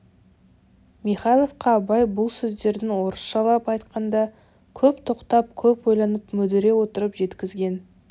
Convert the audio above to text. михайловқа абай бұл сөздерін орысшылап айтқанда көп тоқтап көп ойланып мүдіре отырып жеткізген